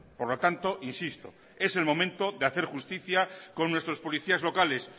por lo tanto insisto es el momento de hacer justicia con nuestros policías locales